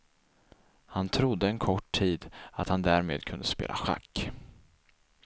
Han trodde en kort tid att han därmed kunde spela schack.